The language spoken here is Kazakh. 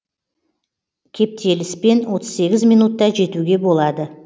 кептеліспен отыз сегіз минутта жетуге болады